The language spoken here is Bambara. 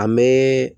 An bɛ